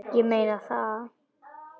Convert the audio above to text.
Ég meina það.